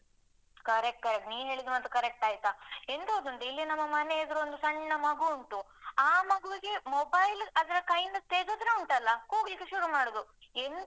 Correct . ನೀನು ಹೇಳಿದ ಮಾತು correct ಆಯ್ತಾ? ಎಂತ ಗೊತ್ತುಂಟ ಇಲ್ಲಿ ನಮ್ಮ ಮನೆ ಎದುರೊಂದು ಸಣ್ಣ ಮಗುವುಂಟು. ಆ ಮಗುವಿಗೆ mobile ಅದರ ಕೈಯ್ಯಿಂದ ತೆಗೆದ್ರೆ ಉಂಟಲ್ಲ, ಕೂಗ್ಲಿಕ್ಕೆ ಶುರು ಮಾಡುದು.